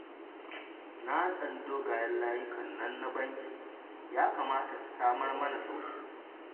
Na tsani dogayen layukan nan na banki, ya kamata su samar mana sauƙi